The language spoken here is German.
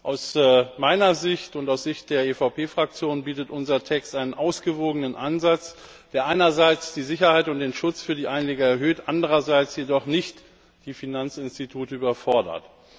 Aus meiner Sicht und aus Sicht der EVP Fraktion bietet unser Text einen ausgewogenen Ansatz, der einerseits die Sicherheit und den Schutz für die Anlieger erhöht, andererseits jedoch nicht die Finanzinstitute überfordert.